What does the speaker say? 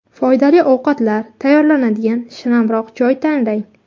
Foydali ovqatlar tayyorlanadigan shinamroq joy tanlang.